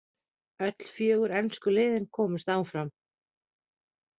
Öll fjögur ensku liðin komust áfram.